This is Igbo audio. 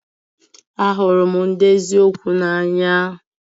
Ahụrụ m ndị eziokwu n'anya